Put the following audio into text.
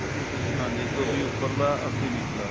ਹਾਂ ਇੱਕ ਸੋ ਵੀਹ ਉਪਰਲਾ ਅੱਸੀ ਨਿਚਲਾ